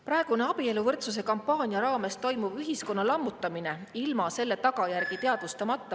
Praegune abieluvõrdsuse kampaania raames toimuv ühiskonna lammutamine ilma selle tagajärgi teadvustamata …